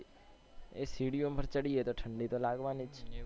એ સિડી માં ચઢીએ તો ઠંડી તો લાગવાની જ